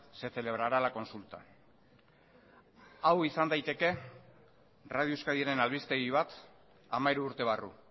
se celebrará la consulta hau izan daiteke radio euskadiren albistegi bat hamairu urte barru